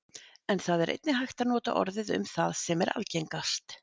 En það er einnig hægt að nota orðið um það sem er algengast.